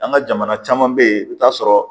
An ka jamana caman be yen i bi taa sɔrɔ